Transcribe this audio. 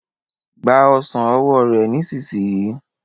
Gba ọsán ọwọ rẹ nísìsiyìí.